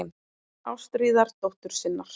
Ástríðar dóttur sinnar.